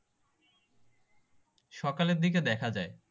সকালের দিকে দেখা যায়